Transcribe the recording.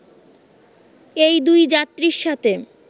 এই দুই যাত্রীর সাথে